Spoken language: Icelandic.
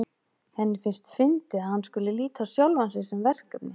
Henni finnst fyndið að hann skuli líta á sjálfan sig sem verkefni.